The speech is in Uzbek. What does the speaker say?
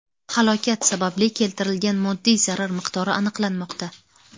Halokat sababli keltirilgan moddiy zarar miqdori aniqlanmoqda.